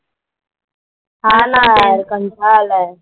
हां ना यार कंटाळा आलाय.